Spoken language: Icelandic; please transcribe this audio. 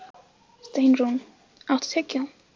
Steinrún, áttu tyggjó?